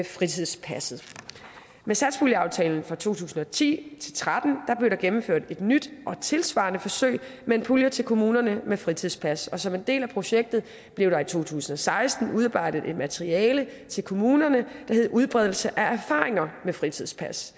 fritidspasset med satspuljeaftalen for to tusind og ti til tretten blev der gennemført et nyt og tilsvarende forsøg med en pulje til kommunerne med fritidspas og som en del af projektet blev der i to tusind og seksten udarbejdet materiale til kommunerne der hed udbredelse af erfaringer med fritidspas